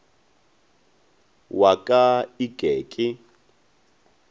wa ka e ke ke